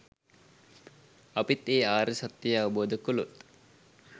අපිත් ඒ ආර්ය සත්‍යය අවබෝධ කළොත්